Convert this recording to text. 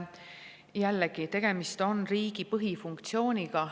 Jällegi, tegemist on riigi põhifunktsiooniga.